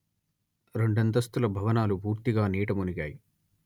రెండంతస్తుల భవనాలు పూర్తిగా నీట మునిగాయి